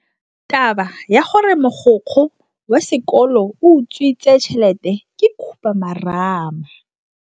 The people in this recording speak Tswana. Taba ya gore mogokgo wa sekolo o utswitse tšhelete ke khupamarama.